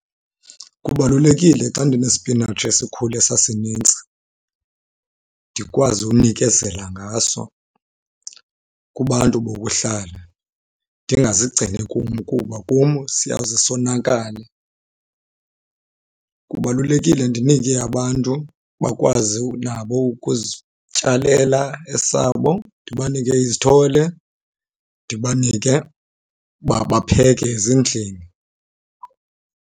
Kubalulekile xa ndinespinatshi esikhule sasinintsi ndikwazi unikezela ngaso kubantu bokuhlala ndingazigcini kum kuba kum siyawuze sonakale. Kubalulekile ndinike abantu bakwazi nabo ukuzityalela esabo. Ndibanike izithole ndibanike uba bapheke ezindlini.